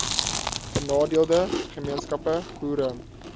benadeelde gemeenskappe boere